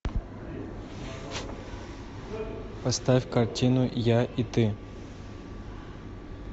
поставь картину я и ты